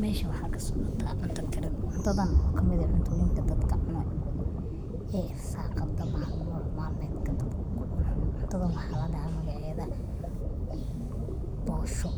Meshan waxaa kasocota cunta karin cuntadhan oo kamid ah cuntooyinka oo dadka cunaya irsaqada malmeedka dadka kucunayo, cuntadha waxaa ladahaa magaceedha boosho